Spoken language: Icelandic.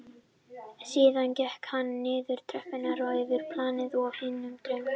Síðan gekk hann niður tröppurnar og yfir planið að hinum dyrunum.